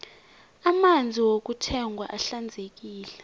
amanzi wokuthengwa ahlanzekile